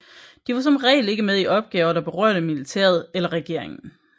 De var som regel ikke med i opgaver der berørte militæret eller regeringen